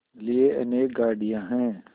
लिए अनेक गाड़ियाँ हैं